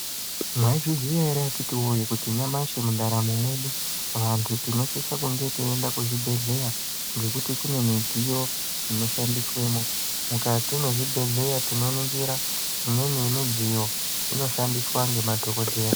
Maizviziya ere akhiti woye kuti nyamashi mundaramo mwedu vantu tinosise kunge teienda kuzvibhedhleya ngekuti kune midziyo inoshandiswemo. Mukati mwezvibhehleya tinoningira imweni yemidziyo inoshandiswa ngemadhokodheya.